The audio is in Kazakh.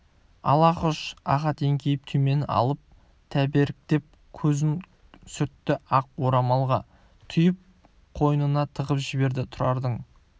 ал хош ахат еңкейіп түймені алып тәберіктеп көзін сүртті ақ орамалға түйіп қойнына тығып жіберді тұрыңдар